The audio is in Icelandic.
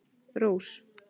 Rós